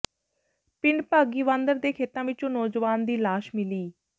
ਪਿੰਡ ਭਾਗੀਵਾਂਦਰ ਦੇ ਖੇਤਾਂ ਵਿੱਚੋਂ ਨੌਜਵਾਨ ਦੀ ਲਾਸ਼ ਮਿਲੀ